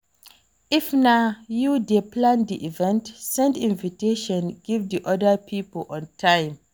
If na you dey plan di event, send invitation give di oda pipo on time